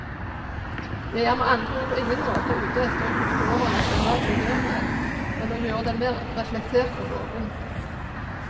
Jeg er med andre ord på ingen måte ute etter å kutte over nasjonal tilhørighet, men å gjøre den mer reflektert og åpen.